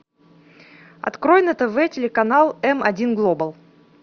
открой на тв телеканал эм один глобал